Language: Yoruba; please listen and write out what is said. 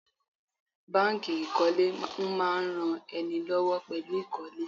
Báńkì ìkólé ń máa ran ẹni lọ́wọ́ pẹ̀lú ìkólé.